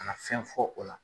Ka na fɛn fɔ o la.